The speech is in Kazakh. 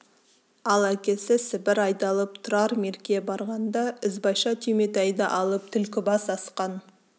ал әкесі сібір айдалып тұрар мерке барғанда ізбайша түйметайды алып түлкібас асқан